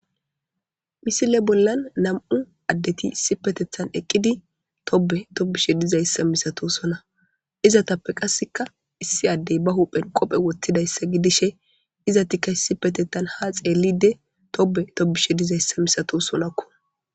misile bollan nam7u addeti issi petethan eqqidi tobe tobishe dizayssa misato sona izatappe qasseka issi addey ba huphen qophe wottidayssa gidishe iza tikka issi petetan ha xeellide tobe tobishe dizayssa misato solakku